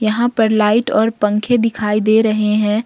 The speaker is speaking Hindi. यहां पर लाइट और पंखे दिखाई दे रहे हैं।